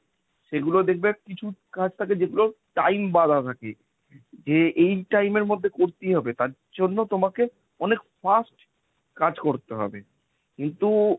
সেগুলো দেখবে কিছু কাজ থাকে যেগুলো time বাঁধা থাকে। যে এই time এর মধ্যে করতেই হবে তার জন্য তোমাকে অনেক fast কাজ করতে হবে। কিন্তু,